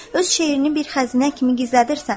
Öz şeirini bir xəzinə kimi gizlədirsən.